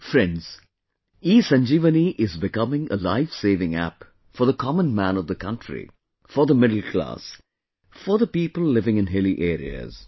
Friends, ESanjeevani is becoming a lifesaving app for the common man of the country, for the middle class, for the people living in hilly areas